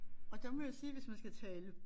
Og der må jeg sige hvis man skal tale